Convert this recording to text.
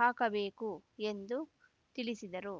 ಹಾಕಬೇಕು ಎಂದು ತಿಳಿಸಿದರು